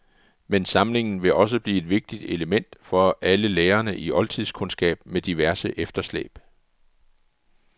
Men samlingen vil også blive et vigtigt element for alle lærere i oldtidskundskab med diverse efterslæb.